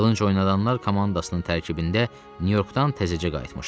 Qılınc oynadanlar komandasının tərkibində Nyu-Yorkdan təzəcə qayıtmışdım.